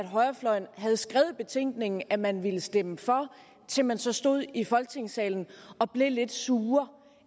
højrefløjen havde skrevet i betænkningen at man ville stemme for til man så stod i folketingssalen og blev lidt sure